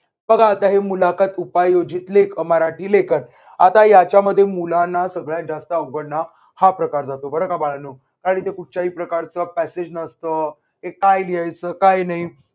बघा आता हे मुलाखत उपयोजित लेखन अह मराठी लेखन आता याच्या मध्ये मुलांना सगळ्यात जास्त अवघड हा प्रकार जातो बरं का बाळांनो आणि ते कुठच्याही प्रकारचा passage नसतो की काय लिहायचं. काय नाही.